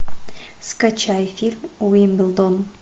скачай фильм уимблдон